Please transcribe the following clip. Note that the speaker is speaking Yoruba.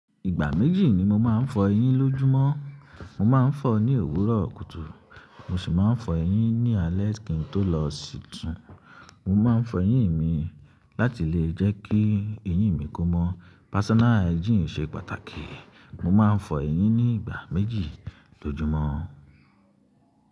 Ìgbà méjì ni mo máa ń fọ eyín lójúmọ́. Mo máa ń fọ ní òwúrọ̀ kùtù, mo sì máa ń fọ eyín ní alẹ́ kí n tó lọ sí tún. Mo máa ń fọ eyín mi láti lè jẹ́ kí eyín mi kó mọ́. Personal hygiene ṣe pàtàkì. Mo máa ń fọ eyín ní ìgbà méjì lójúmọ́.